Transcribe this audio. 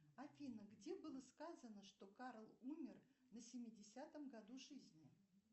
афина где было сказано что карл умер на семидесятом году жизни